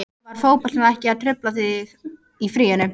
Var fótboltinn ekkert að trufla þig þá í fríinu?